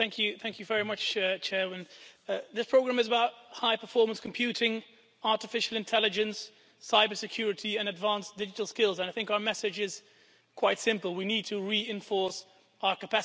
Madam President, this programme is about high performance computing, artificial intelligence, cybersecurity and advanced digital skills, and I think our message is quite simple we need to reinforce our capacity in these fields.